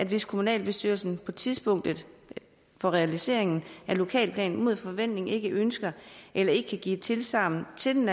hvis kommunalbestyrelsen på tidspunktet for realiseringen af lokalplanen mod forventning ikke ønsker eller ikke kan give tilsagn til den